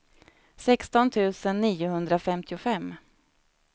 sexton tusen niohundrafemtiofem